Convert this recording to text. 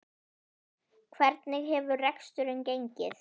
Hvernig hefur reksturinn gengið?